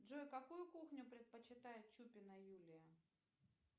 джой какую кухню предпочитает чупина юлия